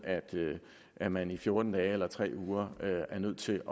at man i fjorten dage eller tre uger er nødt til